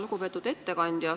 Lugupeetud ettekandja!